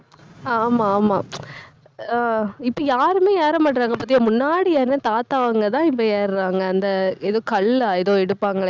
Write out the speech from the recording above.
ஆமா, ஆமா ஆஹ் இப்ப யாருமே ஏற மாட்டேங்கிறாங்க பாத்தியா முன்னாடி யாருன்னா தாத்தா அவங்கதான் இப்ப ஏறுறாங்க. அந்த ஏதோ கள்ளா ஏதோ எடுப்பாங்களே